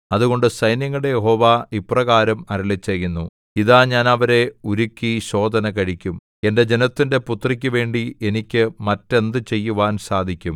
അതുകൊണ്ട് സൈന്യങ്ങളുടെ യഹോവ ഇപ്രകാരം അരുളിച്ചെയ്യുന്നു ഇതാ ഞാൻ അവരെ ഉരുക്കി ശോധനകഴിക്കും എന്റെ ജനത്തിന്റെ പുത്രിക്കു വേണ്ടി എനിക്ക് മറ്റെന്തു ചെയ്യുവാൻ സാധിക്കും